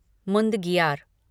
मुदंगियार